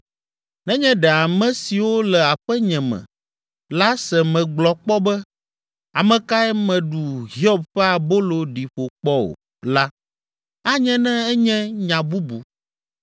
Nenye ɖe ame siwo le aƒenye me la se megblɔ kpɔ be, ‘Ame kae meɖu Hiob ƒe abolo ɖi ƒo kpɔ o?’ la, anye ne enye nya bubu